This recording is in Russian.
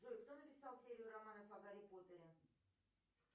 джой кто написал серию романов о гарри поттере